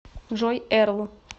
джой эрл